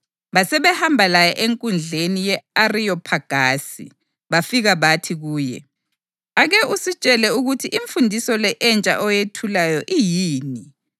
Basebehamba laye enkundleni ye-Ariyophagasi, bafika bathi kuye, “Ake usitshele ukuthi imfundiso le entsha oyethulayo iyini.